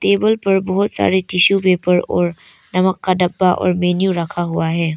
Table पर बहोत सारे टिशू पेपर और नमक का डब्बा और मेन्यू रखा हुआ है।